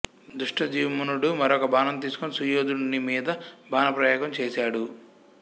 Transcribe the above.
ధృష్టద్యుమ్నుడు మరొక బాణం తీసుకుని సుయోధనుడి మీద బాణ ప్రయోగం చేసాడు